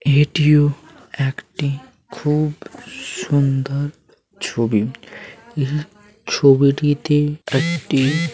এটিও একটি খুব সুন্দর ছবি এই ছবিটিতে একটি--